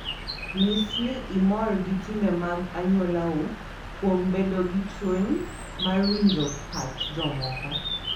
Nyis ni imor gi timbe mag anyuolau kuom bedo gi chuny mar winjo pach jomoko.